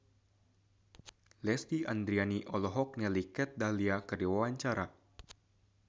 Lesti Andryani olohok ningali Kat Dahlia keur diwawancara